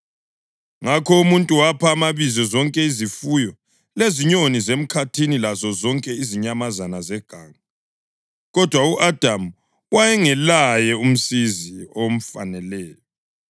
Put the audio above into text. Ngakho umuntu wapha amabizo zonke izifuyo, lezinyoni zemkhathini lazozonke izinyamazana zeganga. Kodwa u-Adamu wayengelaye umsizi omfaneleyo.